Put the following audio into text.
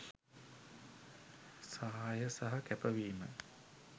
සහාය සහ කැපවීම